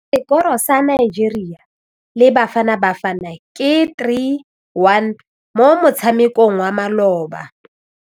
Sekôrô sa Nigeria le Bafanabafana ke 3-1 mo motshamekong wa malôba.